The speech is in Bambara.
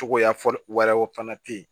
Cogoya fɔli wɛrɛw fana te yen